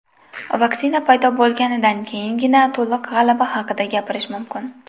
Vaksina paydo bo‘lganidan keyingina to‘liq g‘alaba haqida gapirish mumkin.